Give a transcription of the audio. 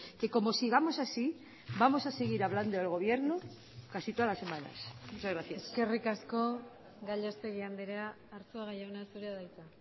que como sigamos así vamos a seguir hablando del gobierno casi todas las semanas muchas gracias eskerrik asko gallastegui andrea arzuaga jauna zurea da hitza